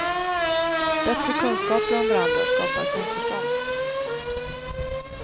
Bättre kunskaper om varandra skapar samförstånd.